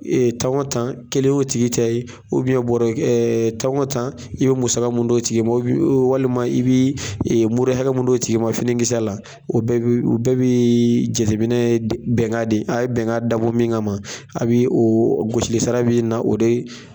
Tan o tan kelen y'o tigi tɛ ye bɔrɛ tan o tan i bɛ musa min d'o tigi ma bɛ walima i bɛ mure hakɛ min d'o tigi ma finikisɛ la o bɛɛ bɛ jateminɛ bɛnkan de a ye bɛnkan dabɔ min kama a bɛ o gosilisara bɛ na o de